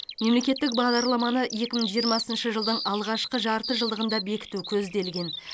мемлекеттік бағдарламаны екі мың жиырмасыншы жылдың алғашқы жартыжылдығында бекіту көзделген